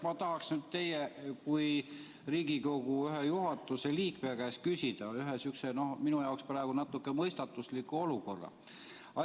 Ma tahaksin teie kui Riigikogu juhatuse ühe liikme käest küsida ühe sihukese minu jaoks natuke mõistatusliku olukorra kohta.